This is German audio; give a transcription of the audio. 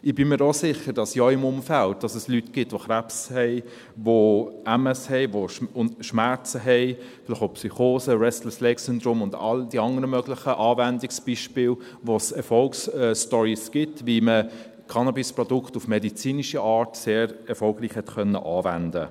Ich bin mir auch sicher, dass es in Ihrem Umfeld Leute gibt, die Krebs haben, die Multiple Sklerose (MS) haben, die Schmerzen haben, vielleicht auch Psychosen, Restless-Legs-Syndrom (RLS) und all die anderen möglichen Anwendungsbeispiele, bei denen es Erfolgsstories gibt, wie man Cannabisprodukte auf medizinische Art sehr erfolgreich anwenden konnte.